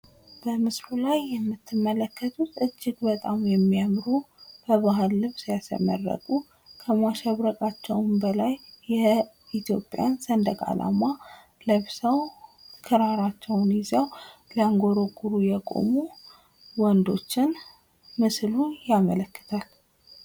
በምስሉ ላይ የምትመለከቱት እጅግ በጣም የሚያምሩ በባህል ልብስ ያሸበረቁ ከማሸብረቃቸውም በላይ የኢትዮጵያ ሰንደቅ አላማ ለብሰው ክራራቸውን ይዘው ሲያንጎረጉሩ የቆሙ ወንዶትን ምስሉ ያመላክታል።